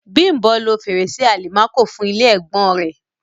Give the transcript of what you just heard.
Bím̀bọ́ lo fèrèsé àlìmákò fún ilé ẹ̀gbọ́n-ọn rẹ̀.